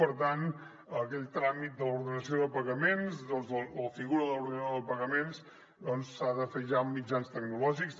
per tant aquell tràmit de l’ordenació de pagaments la figura de l’orde nador de pagaments s’ha de fer ja en mitjans tecnològics